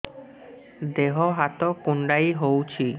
ଦେହ ହାତ କୁଣ୍ଡାଇ ହଉଛି